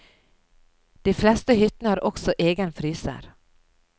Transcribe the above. De fleste hyttene har også egen fryser.